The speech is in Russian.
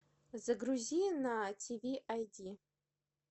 загрузи на тв айди